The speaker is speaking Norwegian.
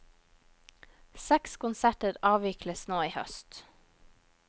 Seks konserter avvikles nå i høst.